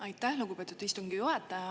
Aitäh, lugupeetud istungi juhataja!